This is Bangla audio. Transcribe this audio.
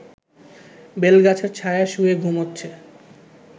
বেলগাছের ছায়ায় শুয়ে ঘুমোচ্ছে